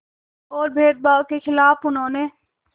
और भेदभाव के ख़िलाफ़ उन्होंने